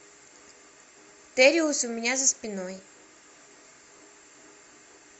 тэриус у меня за спиной